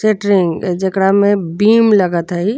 सेटरिंग जेकरा में बीम लगत ह ई।